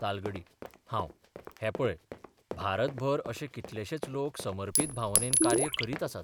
तालगडी हांव हैं पळय, भारतभर अशे कितलेशेच लोक समर्पत भावनेन कार्य करीत आसात.